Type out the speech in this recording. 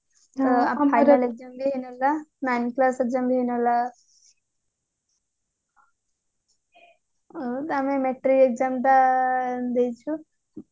ଆମର final exam ବି ହେଇ ନଥିଲା nine class exam ବି ହେଇ ନଥିଲା ଆମେ ମେଟ୍ରିକ exam ଟା ଦେଇଛୁ